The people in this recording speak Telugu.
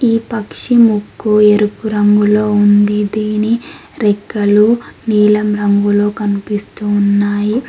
ఈ పక్షి ముక్కు ఎరుపు రంగులో ఉంది దీని రెక్కలు నీలం రంగులో కనిపిస్తూ ఉన్నాయి.